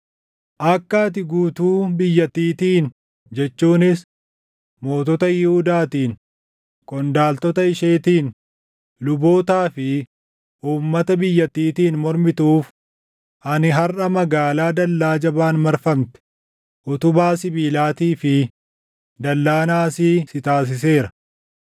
Akka ati guutuu biyyattiitiin jechuunis mootota Yihuudaatiin, qondaaltota isheetiin, lubootaa fi uummata biyyattiitiin mormituuf ani harʼa magaalaa dallaa jabaan marfamte, utubaa sibiilaatii fi dallaa naasii si taasiseera.